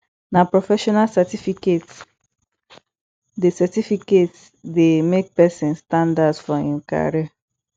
na professional certificate dey certificate dey make pesin standout for im career